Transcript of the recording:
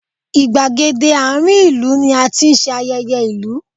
Ìgbègéde àárín ìlú ni a ti ń ṣe ayẹyẹ ìlú